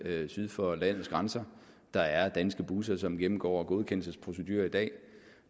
syd for landets grænser der er danske busser som gennemgår godkendelsesprocedurer i dag